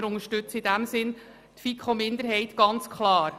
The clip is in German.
Wir unterstützen in diesem Sinn also die FiKo-Minderheit ganz klar.